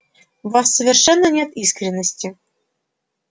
в вас совершенно нет искренности